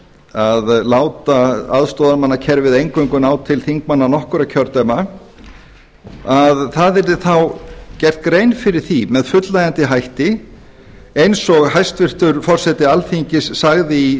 að láta aðstoðarmannakerfið eingöngu ná til þingmanna nokkurra kjördæma að það yrði þá gerð grein fyrir því með fullnægjandi hætti eins og hæstvirtur forseti alþingis sagði í